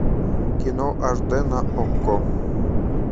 кино аш дэ на окко